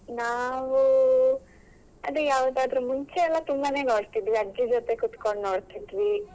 ನಾವು ಅದೇ ಯಾವುದಾದ್ರು ಮುಂಚೆಯಲ್ಲ ತುಂಬಾನೇ ನೋಡ್ತಿದ್ವಿ ಅಜ್ಜಿ ಜೊತೆ ಕೂತ್ಕೊಂಡು ನೋಡ್ತಿದ್ವಿ.